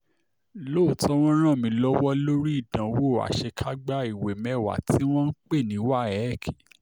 lóòótọ́ wọ́n ràn mí lọ́wọ́ lórí ìdánwò àṣekágbá ìwé mẹ́wàá tí wọ́n ń pè ní wafc